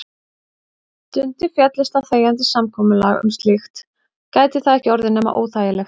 Dundi féllist á þegjandi samkomulag um slíkt gæti það ekki orðið nema óþægilegt.